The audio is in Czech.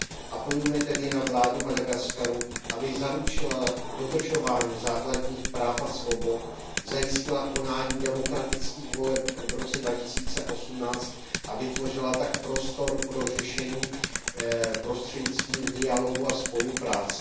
Apelujme tedy na vládu Madagaskaru, aby zaručila dodržování základních práv a svobod, zajistila konání demokratických voleb v roce 2018 a vytvořila tak prostor pro řešení prostřednictvím dialogu a spolupráce.